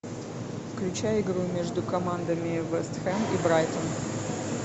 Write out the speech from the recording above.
включай игру между командами вест хэм и брайтон